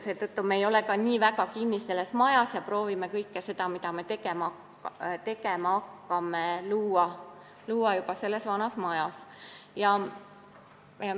Seetõttu me ei ole ka nii väga kinni selles uues majas ja proovime kõike seda, mida me tegema hakkame, luua juba vanas majas.